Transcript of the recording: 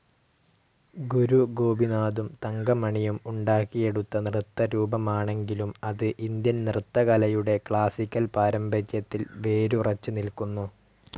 ഗുരു ഗോപിനാഥും തങ്കമണിയും ഉണ്ടാക്കിയെടുത്ത നൃത്തരൂപമാണെങ്കിലും അത് ഇന്ത്യൻ നൃത്തകലയുടെ ക്ലാസിക്കൽ പാരമ്പര്യത്തിൽ വേരുറച്ച്‌ നിൽക്കുന്നു.